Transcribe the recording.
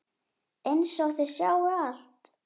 Einsog þau sjái allt.